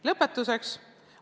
Lõpetuseks.